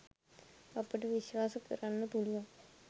අපට විශ්වාස කරන්න පුළුවන්.